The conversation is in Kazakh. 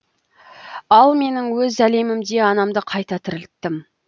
ал мен өз әлемімде анамды қайта тірілттім